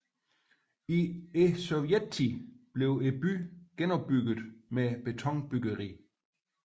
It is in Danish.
I Sovjettiden blev byen genopbygget med betonbyggeri